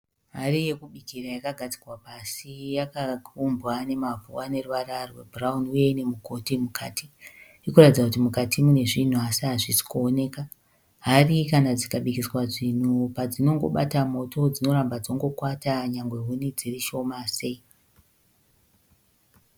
Hari yekubikira yakagadzikwa pasi yakaumbwa nemamvu aneruvara rwebhurauni uye ine mugoti mukati. Ikuratidza kuti mukati munezvinhu asi hazvisi kuonekwa. Hari kana dzikabikiswa zvinhu padzinobata moto dzinoramba dzingokwata nyangwe huni dzirishoma sei.